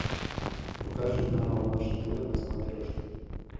покажи канал наше тв на смотрешке